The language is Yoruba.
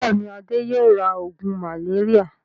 Bẹ́ẹ̀ni, Adé yóò ra oògùn màléríà.